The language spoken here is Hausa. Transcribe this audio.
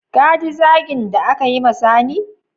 Ka ji zagin da aka yi ma sani?